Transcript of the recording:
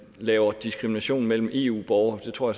lave diskrimination mellem eu borgere det tror